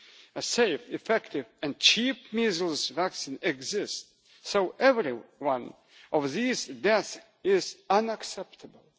A safe, effective and cheap measles vaccine exists, so every one of these deaths is unacceptable.